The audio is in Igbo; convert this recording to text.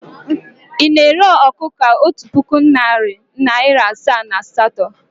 Ị na-ere ọkụkọ a otu puku, narị naịra asaa na naịra asatọ?